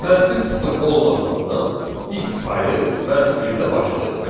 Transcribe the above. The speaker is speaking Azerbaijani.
Mənfi sıfır olmadığından biz sayı mənfi birdən başlayırıq.